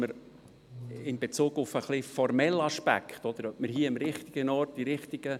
Sie haben diese Planungserklärung abgelehnt mit 92 Nein- gegen 50 Ja-Stimmen und 3 Enthaltungen.